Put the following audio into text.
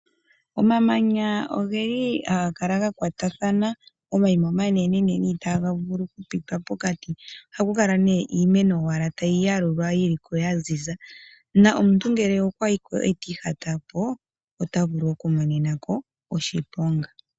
Omamanya ogeli haga kala ga kwatathana, omayima omanenenene itaga vulu oku pitwa pokati. Ohakau kala iimeno owala tayi yalulwa yiloko ya ziza, na omuntu ngele okwa yiko ndele ti ihata po, ota vulu oku monenako oshiponga.